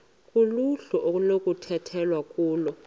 kuluhlu okunokukhethwa kulo